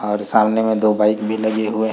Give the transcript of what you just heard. और सामने में दो बाइक भी लगे हुऐ --